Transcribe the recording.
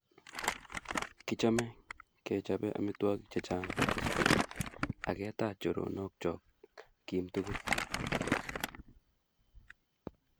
Kichame kechope amitwogik chechang' koskoling' ak ketach choronok chok keam tukul.